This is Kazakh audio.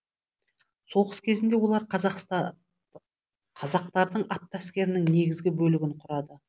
соғыс кезінде олар қазақтардың атты әскерінің негізгі бөлігін құрады